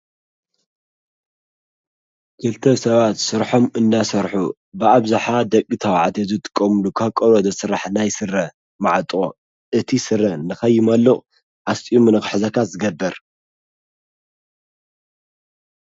ጌልተ ሰባት ሥርሖም እናሠርኁ ብዓብዝሓ ደቂ ታብዓት የዘጥቆምሉ ካ ቆሎዶ ሥራሕ ናይ ሥረ መዕጦ እቲ ሥረ ንኸይመልቕ ኣስጢኡ ምነኽሕዘካት ዝገብር።